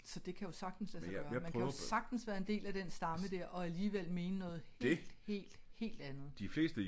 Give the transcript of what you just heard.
Så det kan jo sagtens lade sig gøre man kan jo sagtens være en del af den stamme dér og alligevel mene noget helt helt helt andet